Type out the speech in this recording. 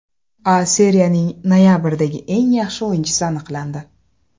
A Seriyaning noyabrdagi eng yaxshi o‘yinchisi aniqlandi.